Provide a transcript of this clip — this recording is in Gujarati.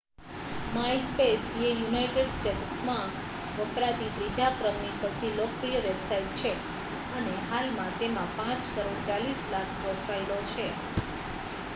myspace એ યુનાઇટેડ સ્ટેટ્સમાં વપરાતી ત્રીજા ક્રમની સૌથી લોકપ્રિય વેબસાઇટ છે અને હાલમાં તેમાં 5 કરોડ 40 લાખ પ્રોફાઇલો છે